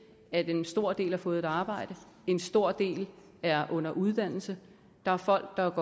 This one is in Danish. at en stor del har fået et arbejde en stor del er under uddannelse der er folk der